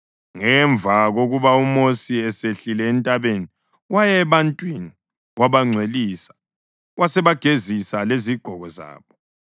Ngemva kokuba uMosi esehlile entabeni waya ebantwini wabangcwelisa basebegezisa lezigqoko zabo.